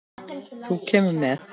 Þú kemur með.